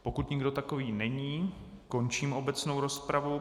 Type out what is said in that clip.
Pokud nikdo takový není, končím obecnou rozpravu.